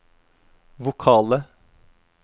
vokale